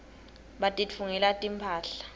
batitfungela timphahla